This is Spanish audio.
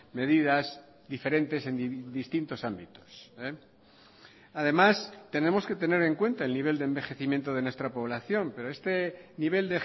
medidas diferentes en distintos ámbitos además tenemos que tener en cuenta el nivel de envejecimiento de nuestra población pero este nivel